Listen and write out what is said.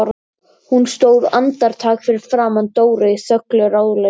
Hún stóð andartak fyrir framan Dóru í þöglu ráðleysi.